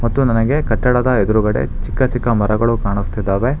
ಮತ್ತು ನನಗೆ ಕಟ್ಟಡದ ಎದ್ರುಗಡೆ ಚಿಕ್ಕ ಚಿಕ್ಕ ಮರಗಳು ಕಾಣಿಸ್ತಿದಾವೆ.